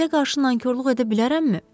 Sizə qarşı nankorluq edə bilərəmmi?